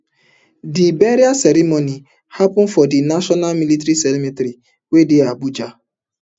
di burial ceremony happun for di national military cemetery wey dey abuja